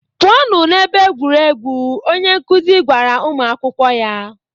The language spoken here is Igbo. "Pụọnụ n'ebe egwuregwu," onye nkuzi gwara ụmụ akwụkwọ ya.